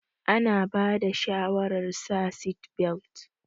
Ana bada shawarar sa seatbelt.